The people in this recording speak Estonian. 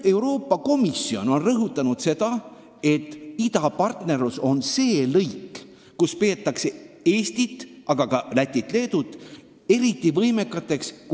Euroopa Komisjon on rõhutanud, et idapartnerlus on see töölõik, milles peetakse Eestit, Lätit ja Leedut eriti võimekateks.